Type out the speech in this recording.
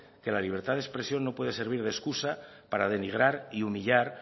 que la libertad de expresión no puede servir de excusa para denigrar y humillar